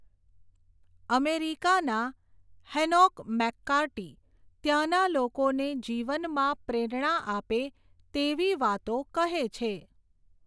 અમેરિકાના Hanoch McCarty, ત્યાંના લોકોને જીવનમાં પ્રેરણા આપે તેવી વાતો કહે છે.